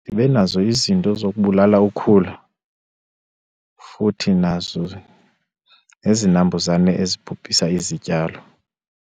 ndibe nazo izinto zokubulala ukhula futhi nazo nezinambuzane ezibhubhisa izityalo.